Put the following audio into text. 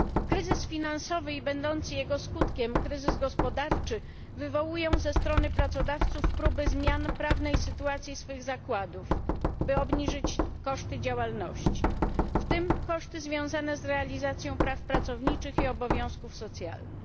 Kryzys finansowy i będący jego skutkiem kryzys gospodarczy wywołują ze strony pracodawców próby zmian prawnej sytuacji swych zakładów, by obniżyć koszty działalności, w tym koszty związane z realizacją praw pracowniczych i obowiązków socjalnych.